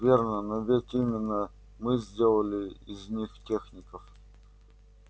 верно но ведь именно мы сделали из них техников